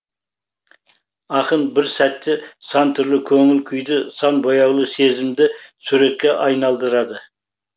ақын бір сәтте сан түрлі көңіл күйді сан бояулы сезімді суретке айналдырады